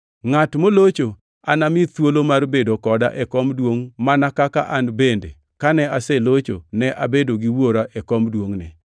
Ngʼat molocho anami thuolo mar bedo koda e kom duongʼna mana kaka an bende kane aselocho ne abedo gi wuora e kom duongʼne.